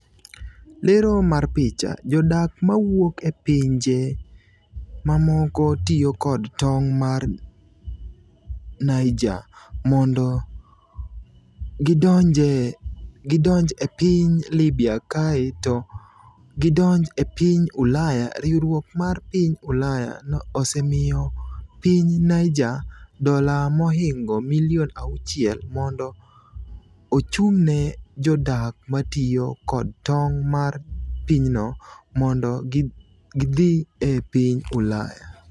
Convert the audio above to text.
Lero mar picha, Jodak mawuok e pinje mamoko tiyo kod tong' mar Niger mondo gidonj e piny Libya kae to gidonj e piny Ulaya Riwruok mar piny Ulaya osemiyo piny Niger dola mohingo milion auchiel mondo ochung'ne jodak ma tiyo kod tong' mar pinyno mondo gidhi e piny Ulaya.